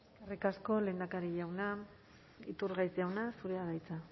eskerrik asko lehendakari jauna iturgaiz jauna zurea da hitza